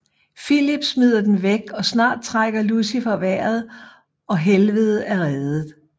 Filip smider den væk og snart trækker Lucifer vejret og Helvede er reddet